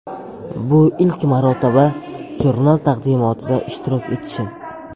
Bu ilk marotaba jurnal taqdimotida ishtirok etishim.